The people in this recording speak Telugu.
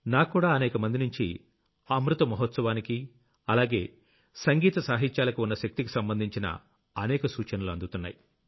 నాక్కూడా అనేకమందినుంచి అమృత మహోత్సవానికి అలాగే సంగీత సాహిత్యాలకు ఉన్న శక్తికి సంబంధించిన అనేక సూచనలు అందుతున్నాయి